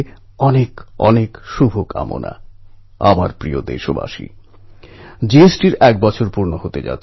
এটা আমার সৌভাগ্য যে মধ্যপ্রদেশে চন্দ্রশেখর আজাদের গ্রাম অলীরাজপুর যাওয়ার সুযোগ হয়েছে